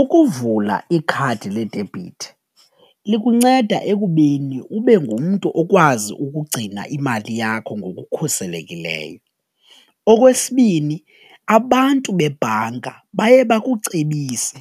Ukuvula ikhadi ledebhithi likunceda ekubeni ube ngumntu okwazi ukugcina imali yakho ngokukhuselekileyo. Okwesibini, abantu bebhanka baye bakucebise